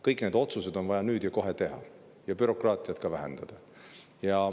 Kõik need otsused on vaja teha nüüd ja kohe ning ka bürokraatiat on vaja vähendada.